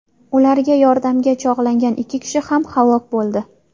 Ularga yordamga chog‘langan ikki kishi ham halok bo‘ldi.